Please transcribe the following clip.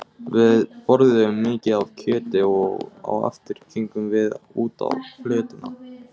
Við borðuðum mikið af kjöti og á eftir gengum við út á flötina.